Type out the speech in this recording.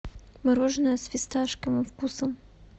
мороженое с фисташковым вкусом